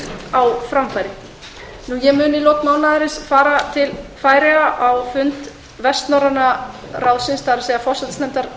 skýrt á framfæri ég mun í lok mánaðarins fara til færeyja á fund vestnorræna ráðsins forsætisnefndar